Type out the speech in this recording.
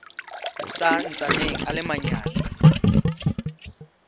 sa ntsaneng a le manyane